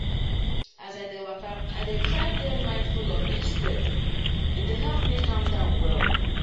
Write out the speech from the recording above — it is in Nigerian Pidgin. as i dey waka i dey try dey mindful of each step — e dey help me calm down well.